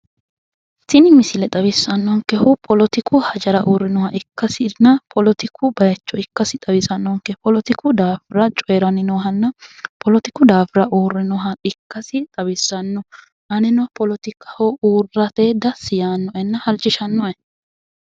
Tini misile xawissannonkehu poletiku hajara uurrinoha ikkasinna poletiku bayicho ikkasi xawissannonke poletiku hajo daafira uurrinoha ikkasi xawissanno anino poletiku daafira uurrate halchishanno'e